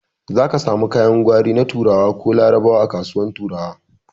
Zaki samu kayan gwari na turawa ko larabawa a kasuwar turawa